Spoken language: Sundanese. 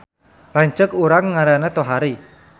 Lanceuk urang ngaranna Tohari